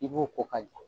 I b'o ko ka ja